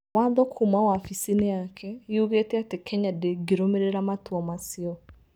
Watho kuuma wabici-inĩ yake yugĩte atĩ Kenya ndĩngĩrũmĩrĩra a matua macio.